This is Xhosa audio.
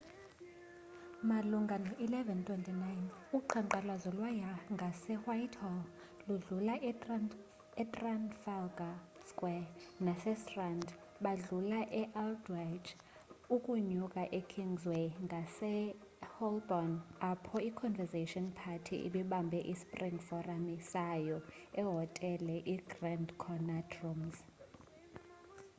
malunga no-11:29 uqhankqalazo lwaya ngasewhitehall ludlula etrafalgar square nasestrand badlula e-aldwaych ukunyuka ekingsway ngase holborn apho iconservative party ibibambe ispring forum sayo ehotele igrand connaught rooms